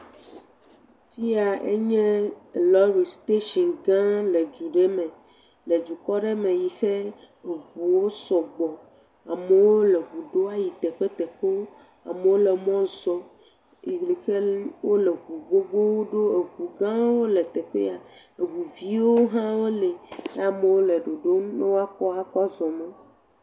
Fi ya nye lɔle steshinga le du ɖe me le dukɔ aɖe me yi he eŋuwo sɔgbɔ. Amewo le ŋu ɖom ayi teƒeteƒewo. Amewo le mɔzɔm yi ke wole ŋu gbogboo ɖom. Eŋugãawo le teƒe ya. Eŋuviwo hã wole ke amewo le ɖoɖom be waokɔ akɔ zɔ mɔ.